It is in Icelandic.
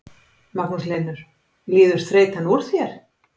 Magnús Hlynur: Líður þreytan úr þér?